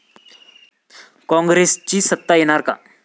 कॉंग्रेसची सत्ता येणार का?